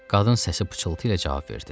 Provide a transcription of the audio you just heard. Qadın səsi pıçıltı ilə cavab verdi.